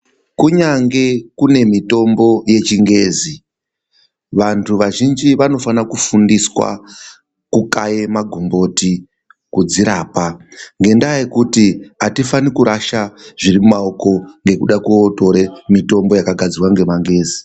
Kunyange kune mitombo yechingezi vantu vazhinji vanofana kufundiswa kukaye magomboti kudzirapa. Ngendaa yekuti hatifani kurasha zviri mumaoko nekuda kutore mitombo yakagadzirwa nemangezi.